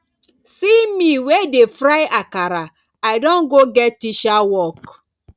see me wey dey fry akara i don go get teacher work